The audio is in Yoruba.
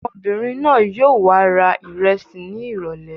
Ọmọbìnrin náà yóò w ra ìrẹsì ní ìrọ́lẹ́.